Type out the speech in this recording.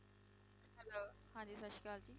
ਹਾਂਜੀ ਸਤਿ ਸ੍ਰੀ ਅਕਾਲ ਜੀ